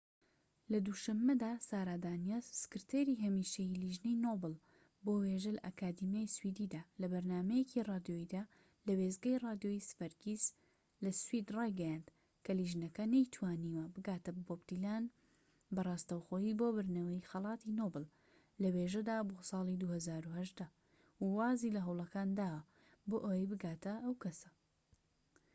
لە دوو شەمەدا سارا دانیەس، سکرتێری هەمیشەیی لیژنەی نۆبڵ بۆ وێژە لە ئەکادیمیای سویدیدا، لە بەرنامەیەکی رادیۆییدا لە وێستگەی رادیۆی سڤەرگیس لە سوید رایگەیاند کە لیژنەکە نەیتوانیوە بگاتە بۆب دیلان بە راستەوخۆیی بۆ بردنەوەی خەلاتی نۆبڵ لە وێژەدا بۆ سالی ٢٠١٦، و وازی لە هەوڵەکان داوە بۆ ئەوەی بگاتە ئەو کەسە